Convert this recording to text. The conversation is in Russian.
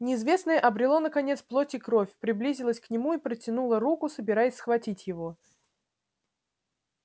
неизвестное обрело наконец плоть и кровь приблизилось к нему и протянуло руку собираясь схватить его